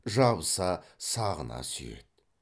жабыса сағына сүйеді